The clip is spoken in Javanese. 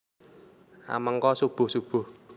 A Mengko subuh subuh